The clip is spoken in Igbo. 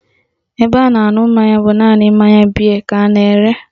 Ebe a na-aṅụ mmanya bụ naanị mmanya bịe ka a na-ere